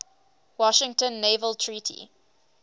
washington naval treaty